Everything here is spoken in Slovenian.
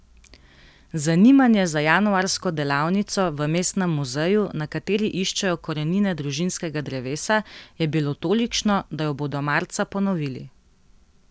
Zanimanje za januarsko delavnico v mestnem muzeju, na kateri iščejo korenine družinskega drevesa, je bilo tolikšno, da jo bodo marca ponovili.